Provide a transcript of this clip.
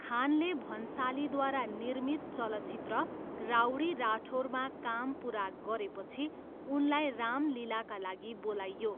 खानले भन्सालीद्वारा निर्मित चलचित्र राउडी राठौरमा काम पुरा गरेपछि उनलाई राम लीलाका लागि बोलाइयो।